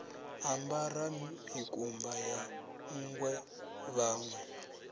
ambara mikumba ya nṋgwe vhanwe